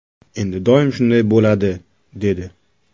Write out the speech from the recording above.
Endi doim shunday bo‘ladi”, dedi.